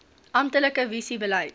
amptelike visie beleid